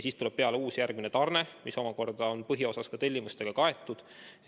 Siis tuleb peale uus, järgmine tarne, mis omakorda on põhiosas tellimustega kaetud.